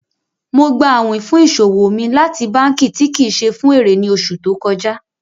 Mo gbà àwìn fún iṣọwọ mi láti bankí tí kí ṣé fun èrè ní oṣù tó kọja.